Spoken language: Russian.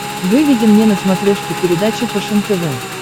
выведи мне на смотрешке передачу фэшен тв